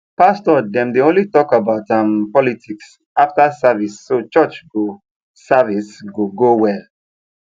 pastor dem dey only talk about um politics after service so church go service go go well